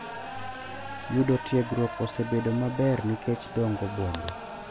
Yudo tiegruok osebedo maber nikech dongo bombe,